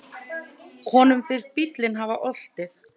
Honum finnst bíllinn hafa oltið.